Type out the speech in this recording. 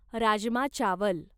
राजमा चावल